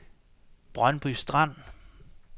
Brøndby Strand